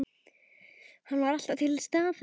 Hann var alltaf til staðar.